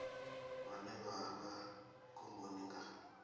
vhane vha vha khomboni nga